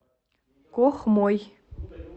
кохмой